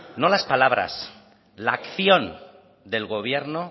no las palabras la acción del gobierno